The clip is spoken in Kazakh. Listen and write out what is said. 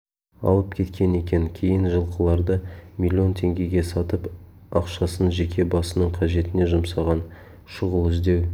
алып кеткен екен кейін жылқыларды миллион теңгеге сатып ақшасын жеке басының қажетіне жұмсаған шұғыл іздеу